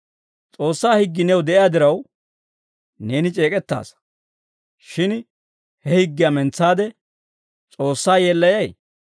S'oossaa higgii new de'iyaa diraw, neeni c'eek'ettaasa; shin he higgiyaa mentsaade S'oossaa yeellayay?